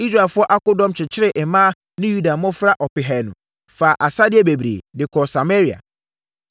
Israelfoɔ akodɔm kyekyeree mmaa ne Yuda mmɔfra ɔpehanu, faa asadeɛ bebree, de kɔɔ Samaria.